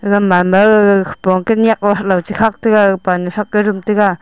te gaman mao khepong kenyak halow chekhak taiga pansrax rum taiga.